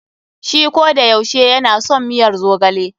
Shi kodayaushe ya na son miyar zogale.